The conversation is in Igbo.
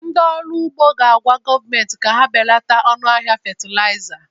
Ndị ọrụ ugbo ga-agwa gọọmentị ka ha belata ọnụ ahịa fatịlaịza